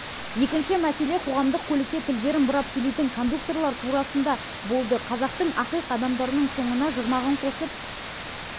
екінші мәселе қоғамдық көлікте тілдерін бұрап сөйлейтін кондукторлар турасында болды қазақтың ақиқ адамдарының соңына жұрнағын қосып